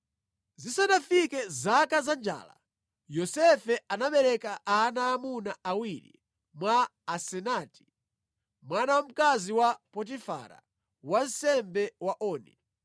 Zisanafike zaka zanjala, Yosefe anabereka ana aamuna awiri mwa Asenati mwana wa mkazi wa Potifara, wansembe wa Oni.